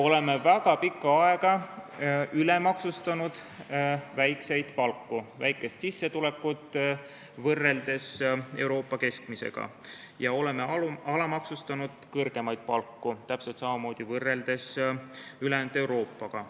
Oleme väga pikka aega ülemaksustanud väikest palka, väikest sissetulekut, kui võrrelda Euroopa keskmisega, ja oleme täpselt samamoodi ülejäänud Euroopaga võrreldes kõrgemaid palku alamaksustanud.